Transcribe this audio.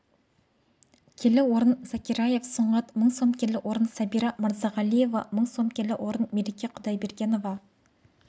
келі орын закиряев сұңғат мың сом келі орын сәбира мырзағалиева мың сом келі орын мереке құдайбергенова